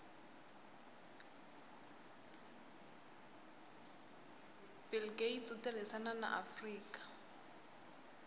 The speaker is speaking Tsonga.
bill gates itirisana na afrika